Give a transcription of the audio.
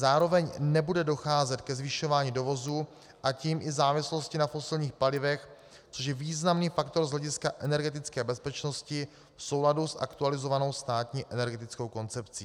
Zároveň nebude docházet ke zvyšování dovozu, a tím i závislosti na fosilních palivech, což je významný faktor z hlediska energetické bezpečnosti v souladu s aktualizovanou státní energetickou koncepcí.